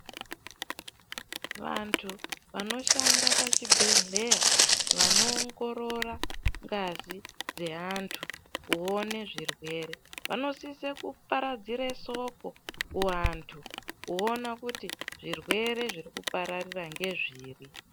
Vantu vanoshanda pachibhehlera vanoongorora ngazi dzeantu kuone zvirwere vanosise kuparadzire soko kuantu kuona kuti zvirwere zviri kupararira ngezviri